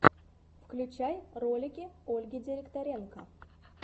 включай ролики ольги директоренко